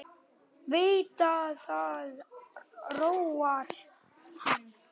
Veit að það róar hann.